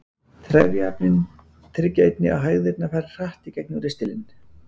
Trefjaefnin tryggja einnig að hægðirnar fara hratt í gegnum ristilinn.